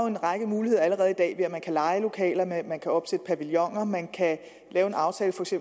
en række muligheder allerede i dag man kan leje lokalerne man kan opsætte pavilloner man kan lave en aftale